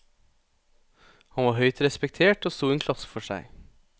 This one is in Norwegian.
Han var høyt respektert og sto i en klasse for seg.